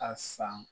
A san